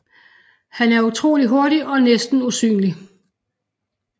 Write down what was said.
Han er utrolig hurtig og næsten usynlig